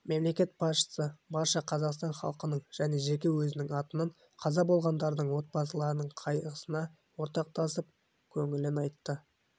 мемлекет басшысы барша қазақстан халқының және жеке өзінің атынан қаза болғандардың отбасыларының қайғысына ортақтасып көңіл айтты